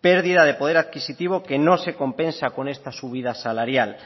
pérdida de poder adquisitivo que no se compensa con esta subida salarial